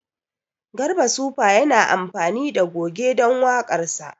Garba sufa yana amfani da goge don waƙarsa